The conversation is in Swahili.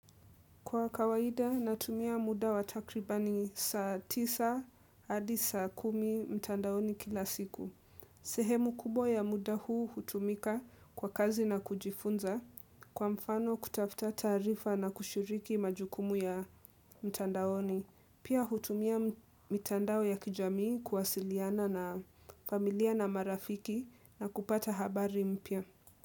Kwa kawaida natumia muda wa takriban saa tisa hadi saa kumi mtandaoni kila siku. Sehemu kubwa ya muda huu hutumika kwa kazi na kujifunza kwa mfano kutafuta taarifa na kushiriki majukumu ya mtandaoni. Pia hutumia mitandao ya kijamii kuwasiliana na familia na marafiki na kupata habari mpya.